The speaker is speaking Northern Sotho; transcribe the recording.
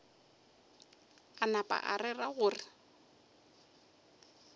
a napa a rera gore